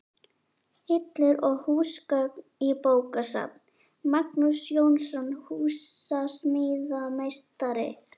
Hillur og húsgögn í bókasafn: Magnús Jónsson, húsasmíðameistari.